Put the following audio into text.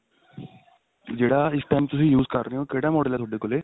ਜਿਹੜਾ ਇਸ time ਤੁਸੀਂ use ਕਰ ਰਹੇ ਹੋ ਕਿਹੜਾ model ਏ ਤੁਹਾਡੇ ਕੋਲੇ